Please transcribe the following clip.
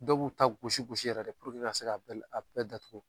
Dɔw b'u ta gosi gosisi yɛrɛ de ka se ka bɛɛ datugu.